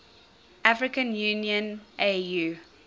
african union au